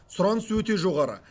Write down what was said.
сұраныс өте жоғары